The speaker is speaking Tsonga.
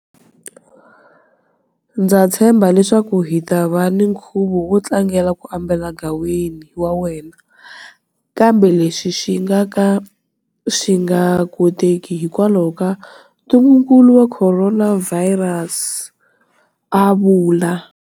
Ndza tshemba leswaku hi ta va na nkhuvo wo tlangela ku ambala gaweni wa hina, kambe leswi swi nga ka swi nga koteki hikwalaho ka ntungukulu wa khoronavhayirasi, a vula.